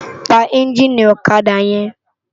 Pá ènjini òkadá yèn